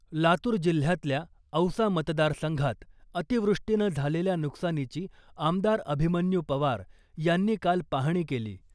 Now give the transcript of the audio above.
लातूर जिल्ह्यातल्या औसा मतदारसंघात अतिवृष्टीनं झालेल्या नुकसानीची आमदार अभिमन्यू पवार यांनी काल पाहणी केली .